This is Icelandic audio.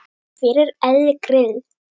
Hver er Elli Grill?